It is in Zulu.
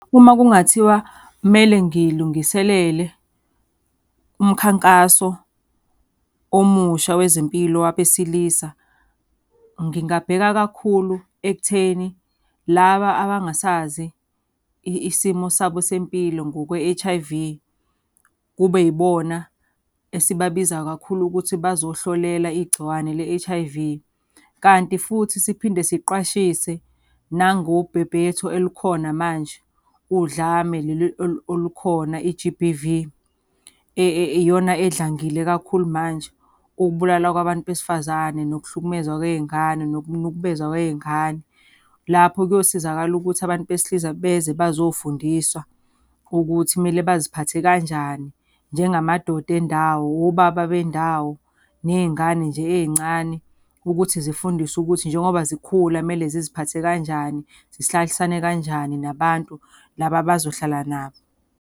Uma kungathiwa kumele ngilungiselele umkhankaso omusha wezempilo wabesilisa, ngingabheka kakhulu ekutheni laba abangasazi isimo sabo sempilo ngokwe-H_I_V kube yibona esibabizayo kakhulu ukuthi bazohlolela igciwane le-H_I_V. Kanti futhi siphinde siqwashise nangobhebhetho elukhona manje, udlame leli olukhona i-G_B_V, iyona edlangile kakhulu manje, ukubulalwa kwabantu besifazane, nokuhlukumezwa kwey'ngane, nokunukubezwa kwey'ngane. Lapho kuyosizakala ukuthi abantu besilisa beze bazofundiswa ukuthi kumele baziphathe kanjani njengamadoda endawo, obaba bendawo. Ney'ngane nje ey'ncane ukuthi zifundiswe ukuthi njengoba zikhula kumele ziziphathe kanjani, zihlalisane kanjani nabantu laba abazohlala nabo.